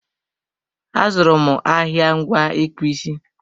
A zụrụ m ahịa ngwa ịkpụ isi